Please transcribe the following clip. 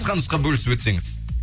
қысқа нұсқа бөлісіп өтсеңіз